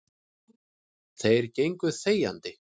Þeir gengu þegjandi.